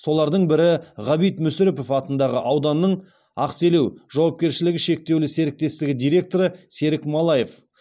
солардың бірі ғабит мүсірепов атындағы ауданның ақселеу жауапкершілігі шектеулі серіктестігі директоры серік малаев